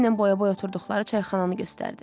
Əli ilə boya-boy oturduqları çayxananı göstərdi.